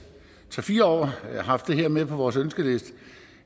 tre fire år haft det her med på vores ønskeliste